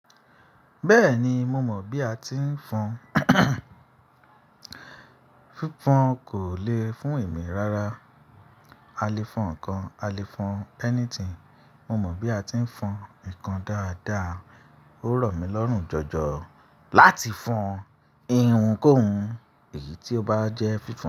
Bẹ́ẹ̀ni, mo mọ̀ bí a ti ń fọn. Fífan kò le fún èmi rárá. A lè fọn ǹkan, a lè fọn anything. Mo mọ bí a ti ń fọn ǹkan dáadáa. Ó rọ̀ mí lọ́rùn jọjọ láti fọn ihun kóhún, èyí tí ó bá jẹ́ fífan.